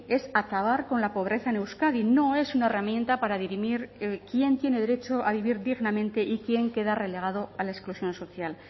es acabar con la pobreza en euskadi no es una herramienta para dirimir quién tiene derecho a vivir dignamente y quién queda relegado a la exclusión social